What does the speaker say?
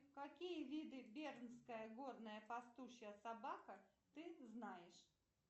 какие виды бернская горная пастушья собака ты знаешь